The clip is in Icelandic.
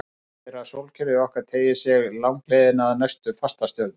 Það þýðir að sólkerfið okkar teygir sig langleiðina að næstu fastastjörnu.